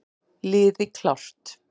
Liði klárt!